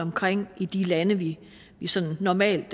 omkring i de lande vi sådan normalt